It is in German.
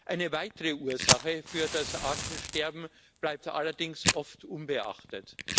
Eine weitere Ursache für das Artensterben bleibt allerdings oft unbeachtet.